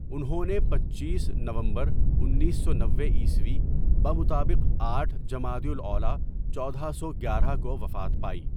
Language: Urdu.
انہوں نے پنچیس ؍نومبر انیس سو نوے عیسوی بمطابق آٹھ ؍جمادی الاولیٰ چودہ سو گیارہ کو وفات پائی.